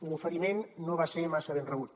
l’oferiment no va ser massa ben rebut